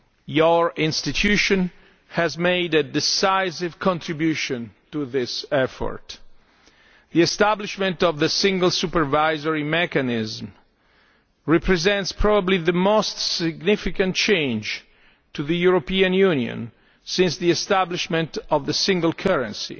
Your institution has made a decisive contribution to this effort. The establishment of the Single Supervisory Mechanism represents probably the most significant change to the European Union since the establishment of the single currency,